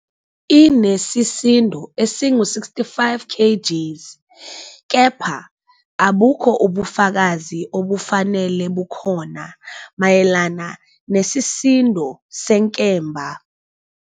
Inesisindo esingu-65 kgs, kepha abukho ubufakazi obufanele bukhona mayelana nesisindo senkemba.